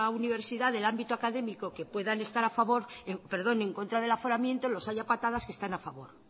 universidad del ámbito académico que puedan estar en contra del aforamiento los hay a patadas que están a favor